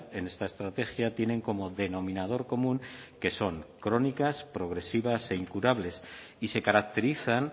en esta estrategia tienen como denominador común que son crónicas progresivas e incurables y se caracterizan